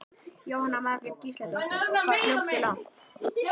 Jóhanna Margrét Gísladóttir: Og hvað hljópstu langt?